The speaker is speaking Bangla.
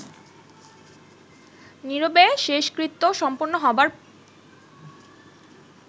নীরবে শেষকৃত্য সম্পন্ন হবার